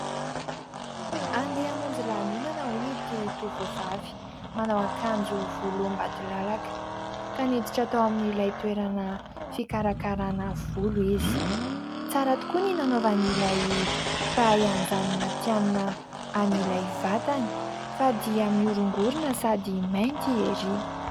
Handeha hamonjy lanonana hono ity tovovavy manao akanjo volombatolalaka, ka niditra tao amin'ilay toerana fikarakarana volo izy. Tsara tokoa ny nanaovan'ilay mpahay an'izany matihanina an'ilay vatany, fa dia miorongorona sy mainty ery.